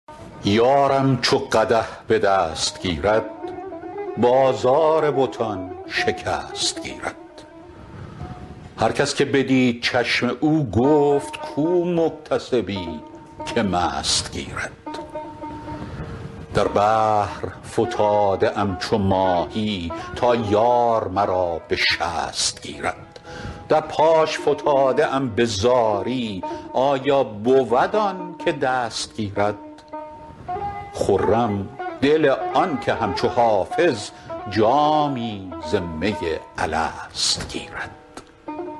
یارم چو قدح به دست گیرد بازار بتان شکست گیرد هر کس که بدید چشم او گفت کو محتسبی که مست گیرد در بحر فتاده ام چو ماهی تا یار مرا به شست گیرد در پاش فتاده ام به زاری آیا بود آن که دست گیرد خرم دل آن که همچو حافظ جامی ز می الست گیرد